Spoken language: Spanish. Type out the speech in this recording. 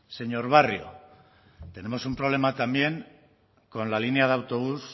señor barrio tenemos un problema también con la línea de autobús